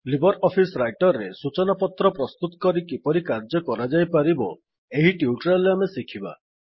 Libre office Writer ରେ ସୁଚନାପତ୍ର ପ୍ରସ୍ତୁତ କରି କିପରି କାର୍ଯ୍ୟ କରାଯାଇପାରିବ ଏହି ଟ୍ୟୁଟୋରିଆଲ ରେ ଆମେ ଶିଖିବା